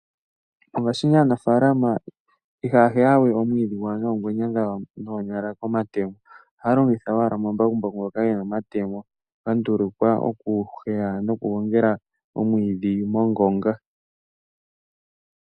Mongashingeyi aanafaalama ihaya heya we omwiidhi gwawo noongwena dhawo noonyala nenge nomatemo. Ohaya longitha owala omambakumbaku, ngoka gena omatemo gandulukwa okuheya, nokugongela omwiidhi mongonga.